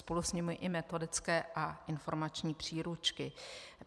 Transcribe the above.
Spolu s nimi i metodické a informační příručky.